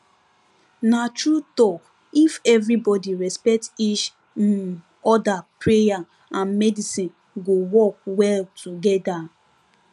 na true talk if everybody respect each um other, prayer and medicine go work well together